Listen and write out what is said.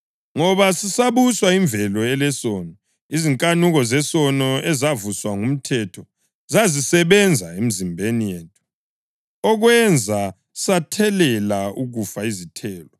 Ngoba sisabuswa yimvelo elesono, izinkanuko zesono ezavuswa ngumthetho zazisebenza emzimbeni yethu, okwenza sathelela ukufa izithelo.